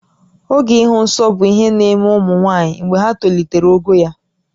Oge ịhụ nsọ bụ ihe na-eme ụmụ nwaanyị mgbe ha tolitere ogo ya